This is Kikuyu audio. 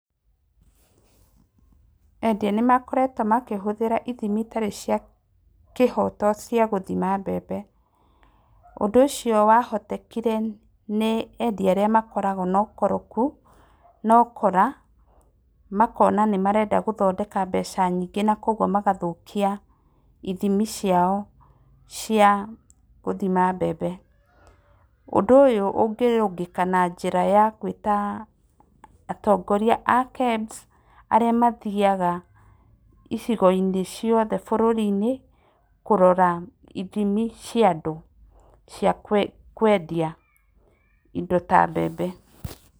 Endia nĩ makoretwo makĩhũthĩra ithimi itarĩ cia kĩhoto cia gũthima mbembe, ũndũ ũcio wa hotekire nĩ endia arĩa makoragwo na ukoroku, na ukora, makona nĩ marenda gũthondeka mbeca nyingĩ na kwoguo magathũkia ithimi ciao cia gũthima mbembe, ũndũ ũyũ ũngĩrũngĩka na njĩra ya gwĩta atongoria a KEBS arĩa mathiyaga icigo-inĩ cioothe bũrũri-inĩ, kũrora ithimi cia andũ cia kwe kwendia indo ta mbembe.